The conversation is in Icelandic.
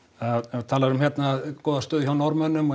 þú talar um hérna góða stöðu hjá Norðmönnum og